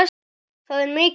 Það er mikill áhugi.